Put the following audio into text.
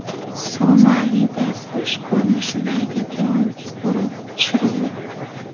Somalida qush ko‘rinishidagi dron urib tushirildi.